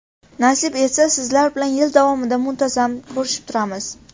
Nasib etsa, sizlar bilan yil davomida muntazam ko‘rishib turamiz.